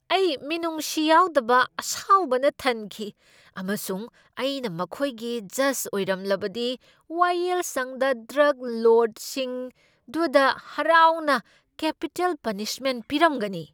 ꯑꯩ ꯃꯤꯅꯨꯡꯁꯤ ꯌꯥꯎꯗꯕ ꯑꯁꯥꯎꯕꯅ ꯊꯟꯈꯤ ꯑꯃꯁꯨꯡ ꯑꯩꯅ ꯃꯈꯣꯏꯒꯤ ꯖꯖ ꯑꯣꯏꯔꯝꯂꯕꯗꯤ ꯋꯥꯌꯦꯜꯁꯪꯗ ꯗ꯭ꯔꯒ ꯂꯣꯔꯗꯁꯤꯡꯗꯨꯗ ꯍꯔꯥꯎꯅ ꯀꯦꯄꯤꯇꯦꯜ ꯄꯅꯤꯁꯃꯦꯟꯠ ꯄꯤꯔꯝꯒꯅꯤ ꯫